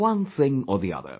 One thing or the other